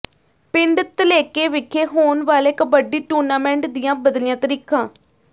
ਪਿੰਡ ਧੱਲੇਕੇ ਵਿਖੇ ਹੋਣ ਵਾਲੇ ਕਬੱਡੀ ਟੂਰਨਾਮੈਂਟ ਦੀਆਂ ਬਦਲੀਆਂ ਤਰੀਖਾਂ